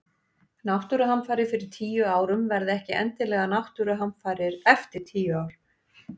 Náttúruhamfarir fyrir tíu árum verða ekki endilega náttúruhamfarir eftir tíu ár.